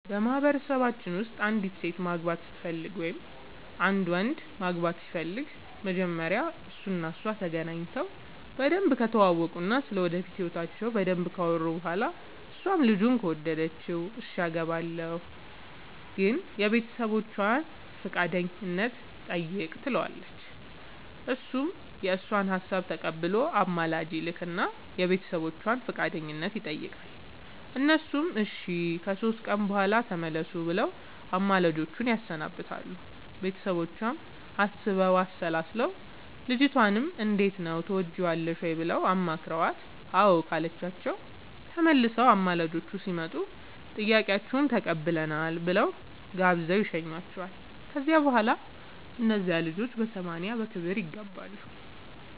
በማህበረሰባችን ውስጥ አንዲት ሴት ማግባት ስትፈልግ ወይም አንድ ወንድ ማግባት ሲፈልግ መጀመሪያ እሱ እና እሷ ተገናኝተው በደንብ ከተዋወቁ እና ስለ ወደፊት ህይወታቸው በደንብ ካወሩ በኋላ እሷም ልጁን ከወደደችው እሽ አገባሀለሁ ግን የቤተሰቦቼን ፈቃደኝነት ጠይቅ ትለዋለች እሱም የእሷን ሀሳብ ተቀብሎ አማላጅ ይልክ እና የቤተሰቦቿን ፈቃደኝነት ይጠይቃል እነሱም እሺ ከሶስት ቀን በኋላ ተመለሱ ብለው አማላጆቹን ያሰናብታሉ ቤተሰቦቿም አስበው አሠላስለው ልጅቷንም እንዴት ነው ትወጅዋለሽ ወይ ብለው አማክረዋት አዎ ካለቻቸው ተመልሰው አማላጆቹ ሲመጡ ጥያቄያችሁን ተቀብለናል ብለው ጋብዘው ይሸኙዋቸዋል ከዚያ በኋላ እነዚያ ልጆች በሰማንያ በክብር ይጋባሉ።